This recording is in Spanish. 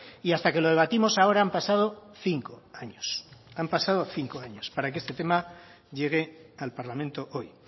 y hasta que lo debatimos ahora han pasado cinco años han pasado cinco años para que este tema llegue al parlamento hoy